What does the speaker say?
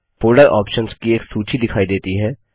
folder options की एक सूची दिखाई देती है